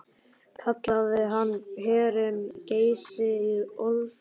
Kallaði hann hverinn Geysi í Ölfusi.